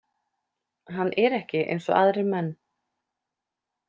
Hann er ekki eins og aðrir menn.